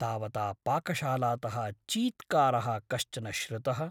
तावता पाकशालातः चीत्कारः कश्चन श्रुतः ।